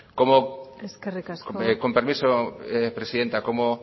como amaitu mesedez con permiso presidenta como